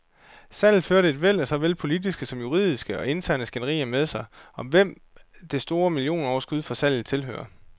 Salget førte et væld af såvel politiske som juridiske og interne skænderier med sig, om hvem det store millionoverskud fra salget tilhører.